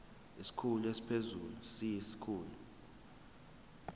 isikhulu esiphezulu siyisikhulu